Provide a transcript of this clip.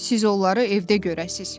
Siz onları evdə görəsiz.